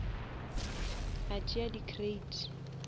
a tšea di crate